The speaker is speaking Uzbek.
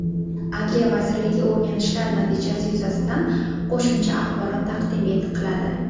Adliya vazirligi o‘rganishlar natijasi yuzasidan qo‘shimcha axborot taqdim qiladi.